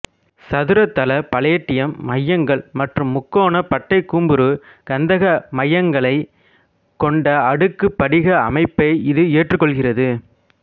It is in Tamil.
சதுரத் தள பலேடியம் மையங்கள் மற்றும் முக்கோண பட்டைக்கூம்புரு கந்தக மையங்களைக் கொண்ட அடுக்கு படிக அமைப்பை இது ஏற்றுக்கொள்கிறது